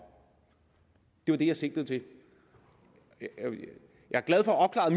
det var det jeg sigtede til jeg er glad for at